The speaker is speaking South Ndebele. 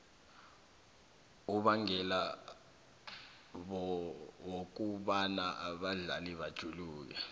ubangela wokobana abadlali bajuluke